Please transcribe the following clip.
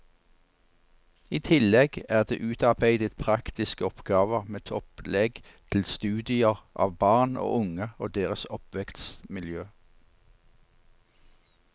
I tillegg er det utarbeidet praktiske oppgaver med opplegg til studier av barn og unge og deres oppvekstmiljø.